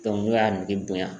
n'o y'a nege bonyan